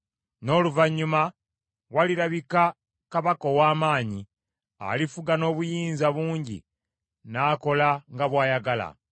N’oluvannyuma walirabika kabaka ow’amaanyi, alifuga n’obuyinza bungi n’akola nga bw’ayagala.